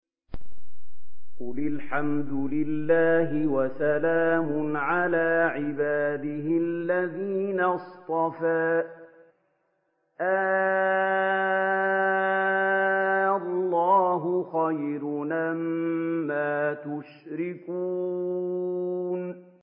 قُلِ الْحَمْدُ لِلَّهِ وَسَلَامٌ عَلَىٰ عِبَادِهِ الَّذِينَ اصْطَفَىٰ ۗ آللَّهُ خَيْرٌ أَمَّا يُشْرِكُونَ